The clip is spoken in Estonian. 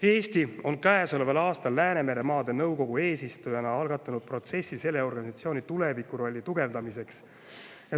Eesti on käesoleval aastal Läänemeremaade Nõukogu eesistujana algatanud protsessi selle organisatsiooni tulevikurolli tugevdamiseks.